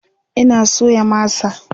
Ina soya masa